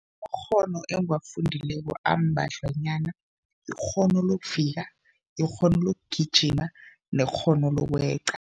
Amakghono engiwafundileko ambadlwanyana, ikghono lokuvika, ikghono lokugijima nekghono lokweqa.